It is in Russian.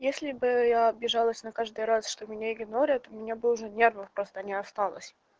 если бы я обижалась на каждый раз что меня игнорят у меня бы уже нервов просто не осталось